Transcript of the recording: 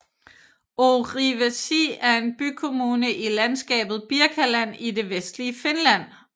Orivesi er en bykommune i landskabet Birkaland i det vestlige Finland